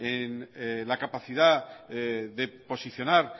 la capacidad de posicionar